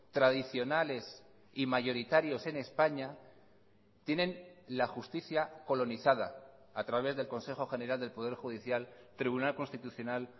tradicionales y mayoritarios en españa tienen la justicia colonizada a través del consejo general del poder judicial tribunal constitucional